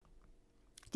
DR1